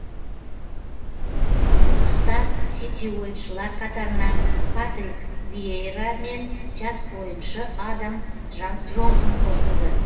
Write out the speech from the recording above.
қыста сити ойыншылар қатарына патрик виейра мен жас ойыншы адам джонсон қосылды